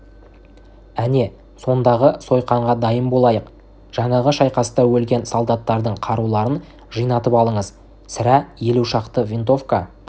әне сондағы сойқанға дайын болайық жаңағы шайқаста өлген солдаттардың қаруларын жинатып алыңыз сірә елу шақты винтовка